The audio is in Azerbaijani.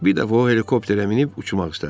Bir dəfə o helikopterə minib uçmaq istədi.